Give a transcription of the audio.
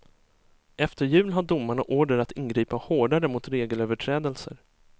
Efter jul har domarna order att ingripa hårdare mot regelöverträdelser.